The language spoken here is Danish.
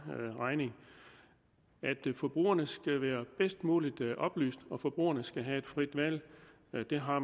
regning forbrugerne skal være bedst muligt oplyst og forbrugerne skal have et frit valg og det har